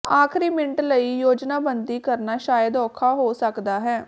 ਆਖਰੀ ਮਿੰਟ ਲਈ ਯੋਜਨਾਬੰਦੀ ਕਰਨਾ ਸ਼ਾਇਦ ਔਖਾ ਹੋ ਸਕਦਾ ਹੈ